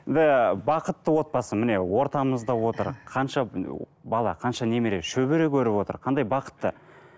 енді бақытты отбасы міне ортамызда отыр қанша бала қанша немере шөбере көріп отыр қандай бақытты